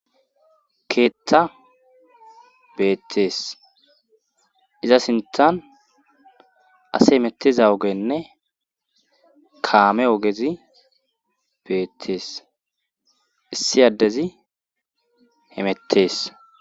keetta beettees iza sintan ase hemetteza ogenne kaame ogezi beettees issi addezi hemettees